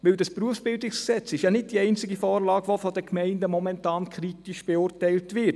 Das BerG ist ja nicht die einzige Vorlage, die von den Gemeinden momentan kritisch beurteilt wird.